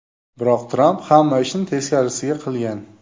Biroq Tramp hamma ishni teskarisiga qilgan.